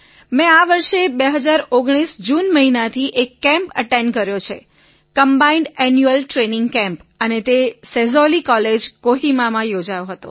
મેં આ વર્ષે ૨૦૧૯ જૂન મહિનાથી એક કેમ્પ એટેન્ડ કર્યો તે છે કમ્બાઇન્ડ એન્યુઅલ ટ્રેઇનિંગ કેમ્પ અને તે સેઝૉલી કોહિમામાં યોજાયો હતો